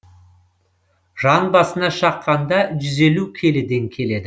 жан басына шаққанда жүз елу келіден келеді